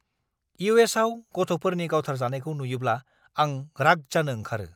इउ.एस.आव गथ'फोरनि गावथारजानायखौ नुयोब्ला आं राग जानो ओंखारो!